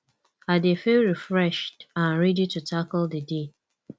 i dey feel refreshed and ready to tackle di day